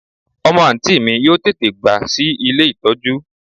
Omo anti mi yoo tete gba si ile itoju